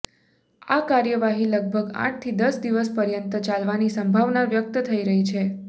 આ કાર્યવાહી લગભગ આઠથી દશ દિવસ પર્યંત ચાલવાની સંભાવના વ્યક્ત થઇ રહી છે